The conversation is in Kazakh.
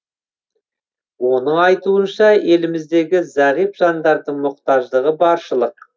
оның айтуынша еліміздегі зағип жандардың мұқтаждығы баршылық